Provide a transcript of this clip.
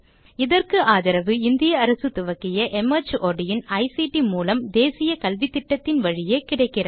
இதற்கு ஆதரவு இந்திய அரசு துவக்கிய மார்ட் இன் ஐசிடி மூலம் தேசிய கல்வித்திட்டத்தின் வழியே கிடைக்கிறது